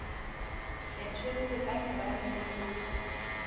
kgetholle ka morabe le ho